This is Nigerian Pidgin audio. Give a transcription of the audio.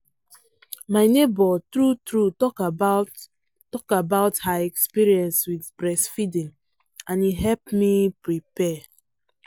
my neighbor true true talk about talk about her experience with breast feeding and e help me prepare.